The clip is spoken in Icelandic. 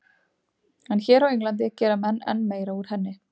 En hér á Englandi gera menn enn meira úr henni.